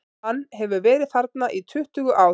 Hann hefur verið þarna í tuttugu ár.